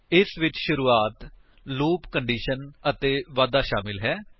ਇਸ ਵਿੱਚ ਸ਼ੁਰੁਆਤ ਲੂਪ ਕੰਡੀਸ਼ਨ ਅਤੇ ਵਾਧਾ ਸ਼ਾਮਿਲ ਹੈ